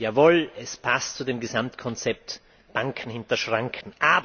Jawohl, es passt zu dem Gesamtkonzept Banken hinter Schranken.